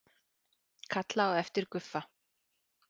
Kalla á eftir Guffa.